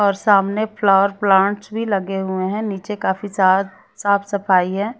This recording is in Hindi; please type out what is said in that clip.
और सामने फ्लावर प्लांट्स भी लगे हुए है नीचे काफी सा साफ सफाई है।